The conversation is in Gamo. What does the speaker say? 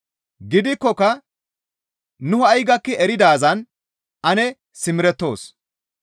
Gidikkoka nu ha7i gakki eridaazan ane simerettoos.